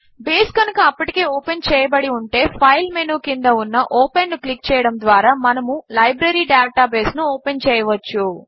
base కనుక అప్పటికే open చేయబడి ఉంటే ఫైల్ మెనూ క్రింద ఉన్న ఓపెన్ ను క్లిక్ చేయడము ద్వారా మనము లైబ్రరీ డేటాబేస్ ను ఓపెన్ చేయవచ్చు